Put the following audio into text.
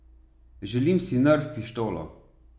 Želim si nerf pištolo.